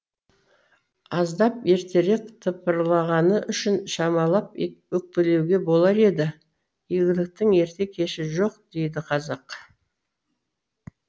аздап ертерек тыпырлағаны үшін шамалап өкпелеуге болар да еді игіліктің ерте кеші жоқ дейді қазақ